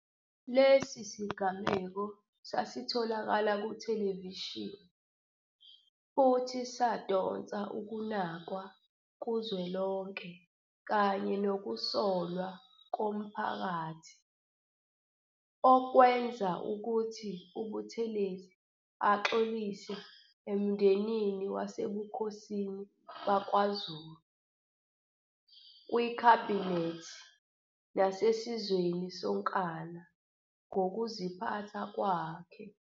Lesi sigameko sasitholakala kuthelevishini futhi sadonsa ukunakwa kuzwelonke kanye nokusolwa komphakathi, okwenza ukuthi uButhelezi axolise emndenini wasebukhosini bakwaZulu, kwikhabhinethi nasesizweni sonkana ngokuziphatha kwakhe.